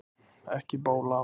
Ekki bóla